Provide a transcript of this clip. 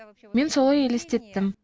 мен солай елестеттім